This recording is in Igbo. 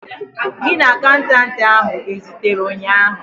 Gị na akaụntanti ahu ezutere ụnyaahụ?